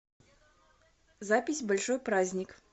запись большой праздник